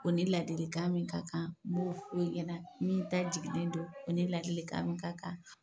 O ni ladilikan min ka kan nb'o fu ɲɛna min ta jiginnen don, o ni ladilikan min ka kan